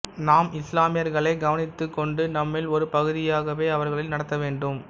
நாம் இசுலாமியர்களை கவனித்துக் கொண்டு நம்மில் ஒரு பகுதியாகவே அவர்களை நடத்த வேண்டும்